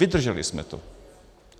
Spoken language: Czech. Vydrželi jsme to.